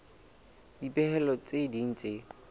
le dipehelo tse ding tse